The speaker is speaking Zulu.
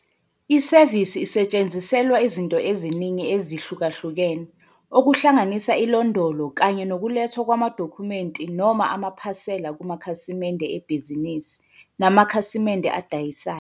Isevisi isetshenziselwa izinto eziningi ezihlukahlukene, okuhlanganisa ilondolo kanye nokulethwa kwamadokhumenti noma amaphasela kumakhasimende ebhizinisi namakhasimende adayisayo.